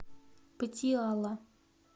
патиала